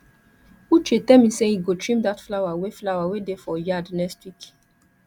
uche tell me say he go trim dat flower wey flower wey dey for yard next week